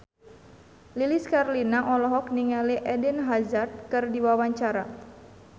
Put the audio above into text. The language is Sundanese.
Lilis Karlina olohok ningali Eden Hazard keur diwawancara